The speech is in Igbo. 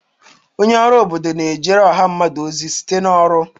Onye ọrụ obodo na-ejere ọha mmadụ ozi site na ọrụ.